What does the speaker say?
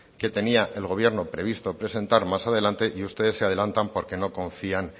que tenía el gobierno previsto presentar más adelante y ustedes se adelantan porque no confían